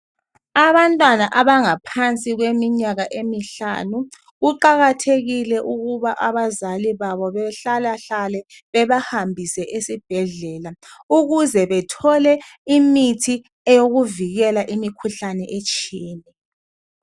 Abantwana abangaphansi kweminyaka emihlanu kuqakhathekile ukuba abazali babo behlalahlale bebahambise esibhedlela ukuze bethole imithi eyokuvikela imikhuhlane etshiyeneyo.